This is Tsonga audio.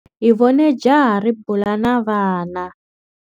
Hi vone jaha ri bula na vana.